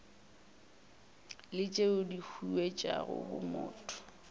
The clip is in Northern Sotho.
le tšeo di huetšago bomotho